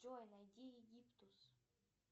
джой найди египтус